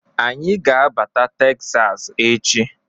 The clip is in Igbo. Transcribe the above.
Anyị ga-abata Teksas echi.